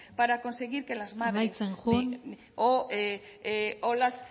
para conseguir que las madres amaitzen joan